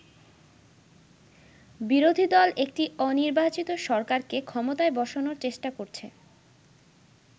বিরোধী দল একটি অনির্বাচিত সরকারকে ক্ষমতায় বসানোর চেষ্টা করছে।